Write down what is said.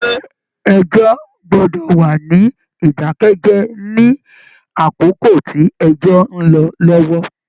Ilé ẹjọ gbọdọ wà ní idakẹ jẹ ní àkókò tí ẹjọ n lọ lọwọ.